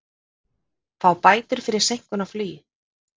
Fá bætur fyrir seinkun í flugi